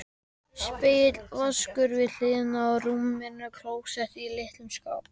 Spegill, vaskur við hliðina á rúminu, klósett í litlum skáp.